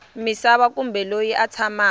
misava kumbe loyi a tshamaka